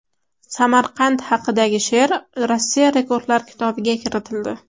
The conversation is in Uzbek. Samarqand haqidagi she’r Rossiya Rekordlar kitobiga kiritildi.